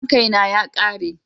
main Kay na ya Kare.